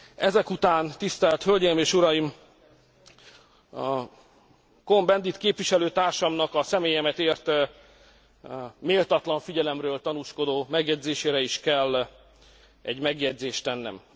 Ezek után, tisztelt hölgyeim és uraim, Cohn Bendit képviselőtársamnak a személyemet ért méltatlan figyelemről tanúskodó megjegyzésére is kell egy megjegyzést tennem.